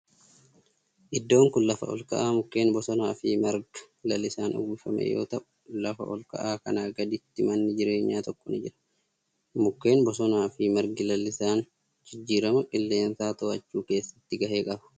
Iddoon kun lafa olka'aa mukkeen bosonaa fi marga lalisaan uwwifame yoo ta'u lafa olka'aa kanaa gaditti manni jireenyaa tokko ni jira. Mukkeen bosonaa fi margi lalisaan jijjiirama qilleensaa to'achuu keessatti gahee qaba.